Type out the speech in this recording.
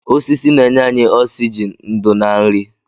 Osisi na-enye anyị oksịjịn, ndo na nri